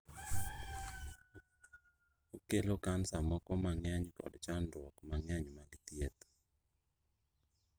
Okelo kansa moko nang'eny kod chandruok mang'eny mag thieth.